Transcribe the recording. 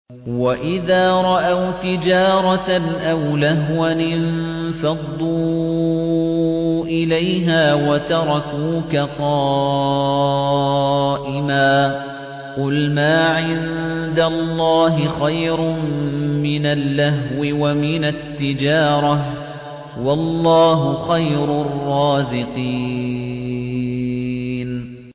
وَإِذَا رَأَوْا تِجَارَةً أَوْ لَهْوًا انفَضُّوا إِلَيْهَا وَتَرَكُوكَ قَائِمًا ۚ قُلْ مَا عِندَ اللَّهِ خَيْرٌ مِّنَ اللَّهْوِ وَمِنَ التِّجَارَةِ ۚ وَاللَّهُ خَيْرُ الرَّازِقِينَ